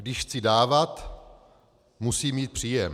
Když chci dávat, musím mít příjem.